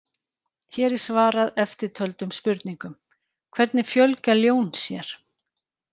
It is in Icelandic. Hér er svarað eftirtöldum spurningum: Hvernig fjölga ljón sér?